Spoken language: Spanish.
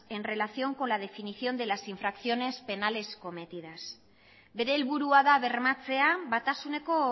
en relación con la definición de las infracciones penales cometidas bere helburua da bermatzea batasuneko